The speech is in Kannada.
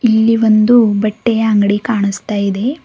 ಇಲ್ಲಿ ಒಂದು ಬಟ್ಟೆಯ ಅಂಗಡಿ ಕಾಣಿಸ್ತಾ ಇದೆ.